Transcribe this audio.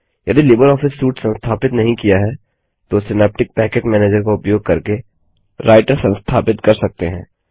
यदि LibreOffice suite संस्थापित नहीं किया है तो सिनाप्टिक पैकेज मैनेजर का उपयोग करके राइटर संस्थापित कर सकते हैं